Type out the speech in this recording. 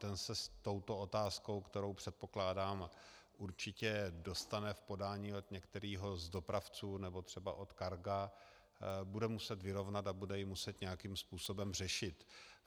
Ten se s touto otázkou, kterou, předpokládám, určitě dostane v podání od některého z dopravců nebo třeba od Carga, bude muset vyrovnat a bude ji muset nějakým způsobem řešit.